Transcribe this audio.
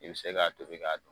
I be se k'a tobi k'a